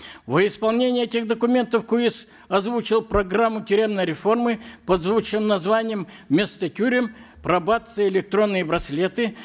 во исполнение этих документов куис озвучил программу тюремной реформы под звучным названием вместо тюрем пробация и электронные браслеты